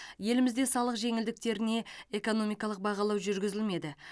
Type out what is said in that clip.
елімізде салық жеңілдіктеріне экономикалық бағалау жүргізілмеді